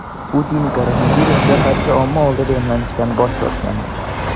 Putin koronavirusga qarshi omma oldida emlanishdan bosh tortgandi.